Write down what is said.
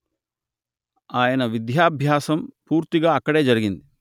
ఆయన విద్యాభ్యాసం పూర్తిగా అక్కడే జరిగింది